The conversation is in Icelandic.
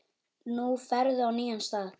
Nú ferðu á nýjan stað.